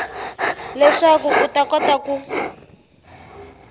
leswaku u ta kota ku